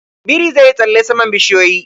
Biri zai yi tsalle saman bishiyoyi.